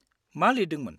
-मा लिरदोंमोन?